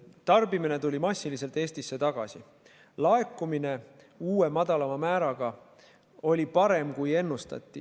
Tarbimine tuli massiliselt Eestisse tagasi ja laekumine oli uue, madalama määra korral parem, kui ennustati.